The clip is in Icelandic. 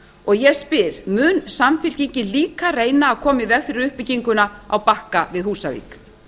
og ég spyr mun samfylkingin líka reyna að koma í veg fyrir uppbygginguna á bakka við húsavík